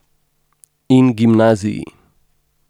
In gimnaziji.